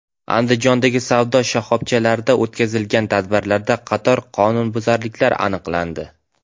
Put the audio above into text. Andijondagi savdo shoxobchalarida o‘tkazilgan tadbirlarda qator qonunbuzarliklar aniqlandi.